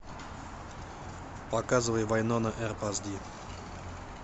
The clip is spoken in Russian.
показывай вайнона эрп аш ди